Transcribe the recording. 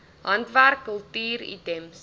handwerk kultuur items